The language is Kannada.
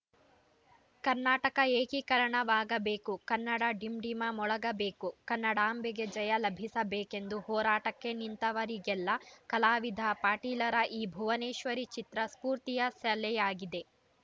ಕರ್ನಾಟಕ ಏಕೀಕರಣವಾಗಬೇಕು ಕನ್ನಡ ಡಿಂಡಿಮ ಮೊಳಗಬೇಕು ಕನ್ನಡಾಂಬೆಗೆ ಜಯ ಲಭಿಸಬೇಕೆಂದು ಹೋರಾಟಕ್ಕೆ ನಿಂತವರಿಗೆಲ್ಲ ಕಲಾವಿದ ಪಾಟೀಲರ ಈ ಭುವನೇಶ್ವರಿ ಚಿತ್ರ ಸ್ಫೂರ್ತಿಯ ಸೆಲೆಯಾಗಿದೆ